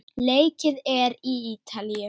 Leikið er í Ítalíu.